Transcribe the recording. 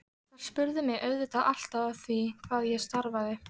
Þær spurðu mig auðvitað alltaf að því hvað ég starfaði.